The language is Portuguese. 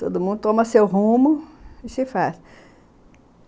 Todo mundo toma seu rumo e se faz.